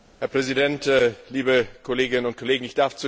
Herr Präsident, liebe Kolleginnen und Kollegen!